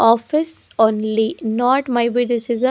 Office only not maybe this is a --